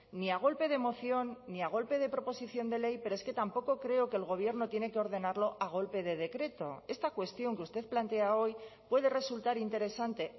ni a golpe de moción ni a golpe de proposición de ley pero es que tampoco creo que el gobierno tiene que ordenarlo a golpe de decreto esta cuestión que usted plantea hoy puede resultar interesante